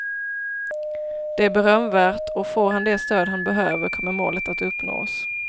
Det är berömvärt och får han det stöd han behöver kommer målet att uppnås.